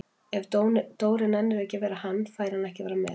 Ef Dóri nennir ekki að vera hann, fær hann ekki að vera með